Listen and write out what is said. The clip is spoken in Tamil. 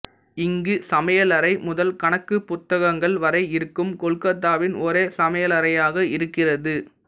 இங்கு சமையலறை முதல் கணக்கு புத்தகங்கள் வரை இருக்கும் கொல்கத்தாவின் ஒரே சமையலைறையாக இருக்கிறது